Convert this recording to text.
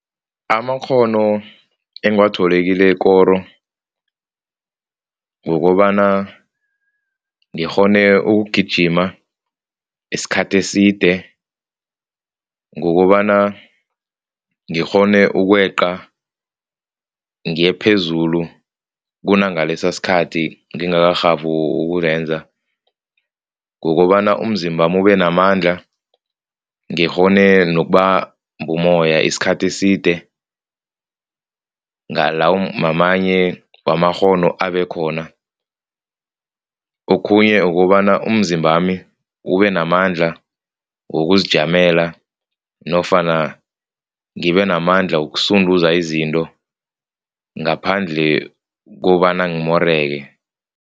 Amakghono engiwathole kilekoro kukobana ngikghone ukugijima isikhathi eside, kukobana ngikghone ukweqa ngiyephezulu kunangalesa sikhathi ngingarhabi ukulenza, kukobana umzimbami ubenamandla, ngikghone nokubamba umoya isikhathi eside ngamanye wamakghono abekhona. Okhunye ukobana umzimbami ubenamandla wokuzijamela nofana ngibenamandla ukusunduza izinto ngaphandle kobana ngimoreke.